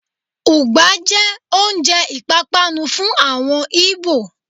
Ùgbá jẹ oúnjẹ ìpápánu fún àwọn Ìgbò.